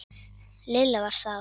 Lilla var sár.